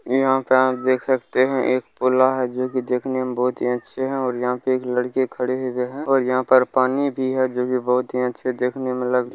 यहां पे आप देख सकते है एक पुला है जो कि देखने में बहुत अच्छे है और यहां पे एक लड़के खड़े हुए है और यहां पर पानी भी है जो कि बहुत अच्छे देखने में --